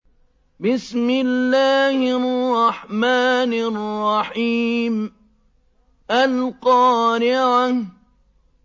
الْقَارِعَةُ